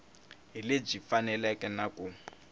hi lebyi faneleke na ku